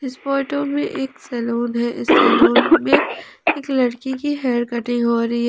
इस फोटो में एक सैलून हैं इस सैलून में एक लड़के की हेयर कटिंग हो रही--